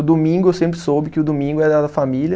O domingo eu sempre soube que o domingo era da família.